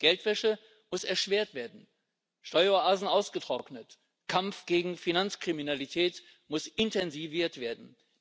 Geldwäsche muss erschwert werden, Steueroasen ausgetrocknet, Kampf gegen Finanzkriminalität muss intensiviert werden.